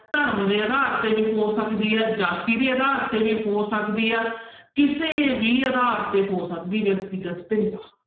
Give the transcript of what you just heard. ਧਰਮ ਦੇ ਆਧਾਰ ਤੇ ਵੀ ਹੋ ਸਕਦੀ ਹੈ, ਜਾਤੀ ਦੇ ਆਧਾਰ ਤੇ ਵੀ ਹੋ ਸਕਦੀ ਆ ਕਿਸੇ ਵੀ ਆਧਾਰ ਤੇ ਹੋ ਸਕਦੀ ਵਿਅਕਤੀਗਤ ਭਿੰਨਤਾ।